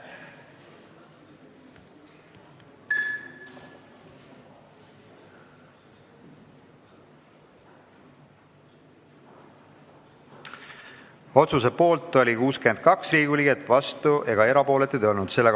Hääletustulemused Otsuse poolt oli 62 Riigikogu liiget, vastuolijaid ega erapooletuid ei olnud.